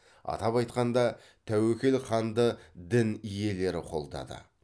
атап айтқанда тәуекел ханды дін иелері қолдады